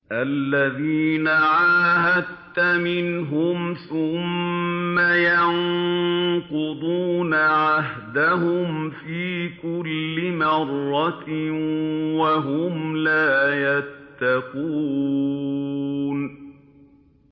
الَّذِينَ عَاهَدتَّ مِنْهُمْ ثُمَّ يَنقُضُونَ عَهْدَهُمْ فِي كُلِّ مَرَّةٍ وَهُمْ لَا يَتَّقُونَ